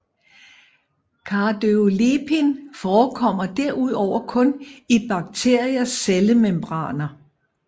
Cardiolipin forekommer derudover kun i bakteriers cellemembraner